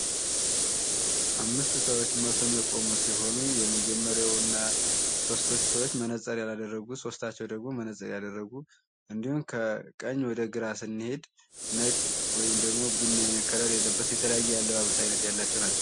አምስት ሰዎች የቆሙ ሲሆኑ የመጀመሪያው እና ሦስቱ ሰዎች መነፅር ያላደረጉ ሶስታቸው ደግሞ መነፅር ያደረጉ እንዲሁም ከቀኝ ወደ ግራ ስንሄድ ነጭ ወይም ደግሞ ቡኒ ዓይነት ከለር የተለያየ አለባበስ አይነት ያላቸው ናቸው።